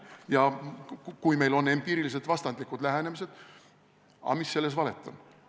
Ja kui meil on empiiriliselt vastandlikud lähenemised, siis mis selles valet on?